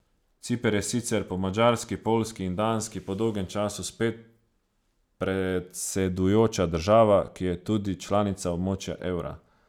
Ciper je sicer po Madžarski, Poljski in Danski po dolgem času spet predsedujoča država, ki je tudi članica območja evra.